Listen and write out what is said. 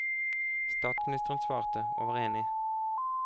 Statsministeren svarte, og var enig.